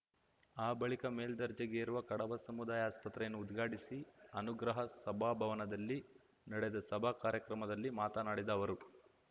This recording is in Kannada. ಆ ಬಳಿಕ ಮೇಲ್ದರ್ಜೆಗೇರಿರುವ ಕಡಬ ಸಮುದಾಯ ಆಸ್ಪತ್ರೆಯನ್ನು ಉದ್ಘಾಟಿಸಿ ಅನುಗ್ರಹ ಸಭಾಭವನದಲ್ಲಿ ನಡೆದ ಸಭಾ ಕಾರ್ಯಕ್ರಮದಲ್ಲಿ ಮಾತನಾಡಿದ ಅವರು